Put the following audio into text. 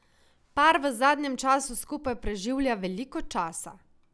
Par v zadnjem času skupaj preživlja veliko časa.